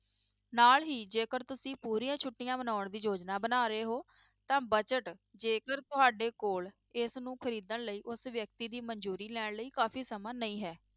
ਨਾਲ ਹੀ ਜੇਕਰ ਤੁਸੀਂ ਪੂਰੀਆਂ ਛੁੱਟੀਆਂ ਮਨਾਉਣ ਦੀ ਯੋਜਨਾ ਬਣਾ ਰਹੇ ਹੋ ਤਾਂ budget ਜੇਕਰ ਤੁਹਾਡੇ ਕੋਲ ਇਸ ਨੂੰ ਖ਼ਰੀਦਣ ਲਈ ਉਸ ਵਿਅਕਤੀ ਦੀ ਮੰਨਜ਼ੂਰੀ ਲੈਣ ਲਈ ਕਾਫ਼ੀ ਸਮਾਂ ਨਹੀਂ ਹੈ।